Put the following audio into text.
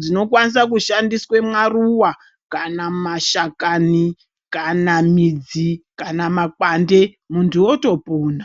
dzinokwaniswa kushandiswa mwaruwa kana mumashakani, kana midzi , kana makwande muntu wotopona.